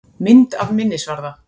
Mynd af minnisvarða.